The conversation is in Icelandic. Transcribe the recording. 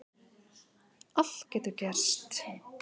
Allt getur gerst